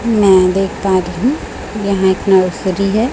मैं देख पा रही यहां एक नर्सरी है।